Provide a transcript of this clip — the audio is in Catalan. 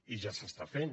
i ja s’està fent